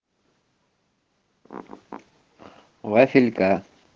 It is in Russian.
вафелька